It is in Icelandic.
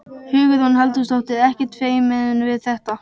Hugrún Halldórsdóttir: Ekkert feiminn við þetta?